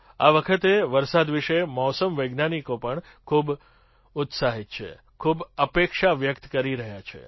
આ વખતે વરસાદ વિશે મૌસમ વૈજ્ઞાનિકો પણ ખૂબ જ ઉત્સાહિત છે ખૂબ અપેક્ષા વ્યક્ત કરી રહ્યા છે